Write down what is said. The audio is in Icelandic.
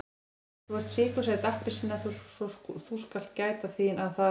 En þú ert sykursæt appelsína svo þú skalt gæta þín að það.